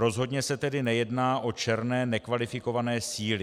Rozhodně se tedy nejedná o černé nekvalifikované síly.